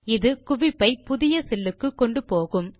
இது குவிப்பை புதிய செல் க்கு கொண்டுபோகும்